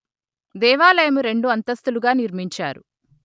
దేవాలయము రెండు అంతస్తులుగా నిర్మించారు